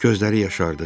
Gözləri yaşardı.